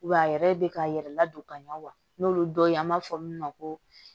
Wa a yɛrɛ bɛ ka yɛrɛ ladon ka ɲɛ wa n'olu dɔ ye an b'a fɔ min ma ko